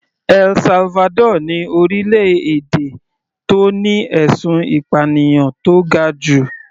El Salvador ni orílẹ̀-èdè tó ní ẹ̀sùn ìpànìyàn tó ga jù.